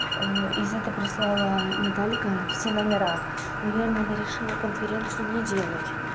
из это прислала наталька все номера наверное она решила конференцию не делать